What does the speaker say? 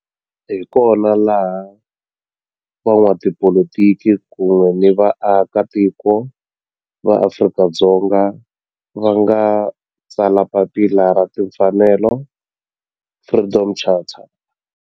Laha hi kona la van'watipolitiki kun'we ni vaaka tiko va Afrika-Dzonga va nga tsala papila ra timfanelo, Freedom Charter.